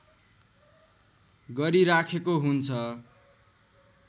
गरिराखेको हुन्छ